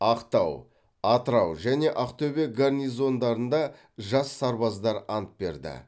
ақтау атырау және ақтөбе гарнизондарында жас сарбаздар ант берді